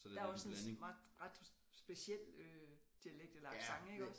Der også en ret speciel øh dialekt eller accent iggås